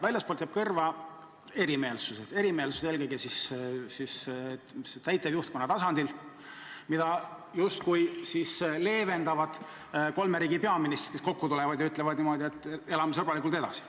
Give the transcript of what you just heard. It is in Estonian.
Väljastpoolt jäävad kõrva erimeelsused – erimeelsused eelkõige täitevjuhtkonna tasandil, mida justkui leevendavad kolme riigi peaministrid, kes tulevad kokku ja ütlevad niimoodi, et elame sõbralikult edasi.